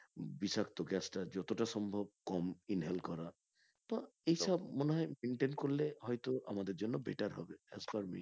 বিষাক্ত gas টা যতটা সম্ভব কম inhale করা তো এইসব করলে হয়তো আমাদের জন্য better হবে as per me